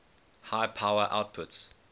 high power outputs